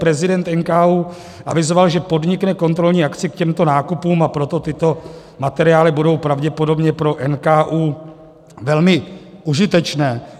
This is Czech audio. Prezident NKÚ avizoval, že podnikne kontrolní akci k těmto nákupům, a proto tyto materiály budou pravděpodobně pro NKÚ velmi užitečné.